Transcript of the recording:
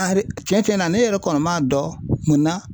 cɛn cɛnna ne yɛrɛ kɔni man dɔn munna?